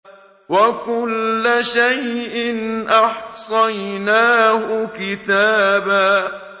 وَكُلَّ شَيْءٍ أَحْصَيْنَاهُ كِتَابًا